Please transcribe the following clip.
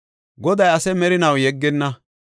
Goday ase merinaw yeggenna.